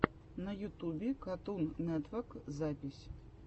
на ютубе катун нетвок запись